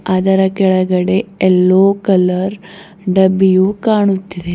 ಅದರ ಕೆಳಗೆ ಎಲ್ಲೋ ಕಲರ್ ಡಬ್ಬಿಯು ಕಾಣುತ್ತಿದೆ.